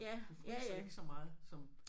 Du fryser ikke så meget som